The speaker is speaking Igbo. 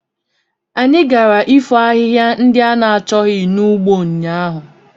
Anyị gara ifo ahịhịa ndị a na-achọghị n'ugbo ụnyaahụ.